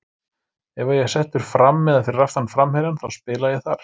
Ef að ég er settur fram eða fyrir aftan framherjann þá spila ég þar.